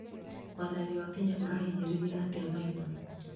wathani wa Kenya ũrahinyĩrĩria atĩ Maina